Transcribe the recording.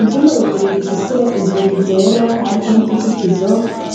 Ivyumba bibiri bifise inzugi zera, hariko n'utuzitizo,